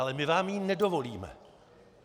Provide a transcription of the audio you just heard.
Ale my vám ji nedovolíme.